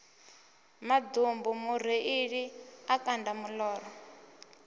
maḓumbu mureiḽi a kanda moḓoro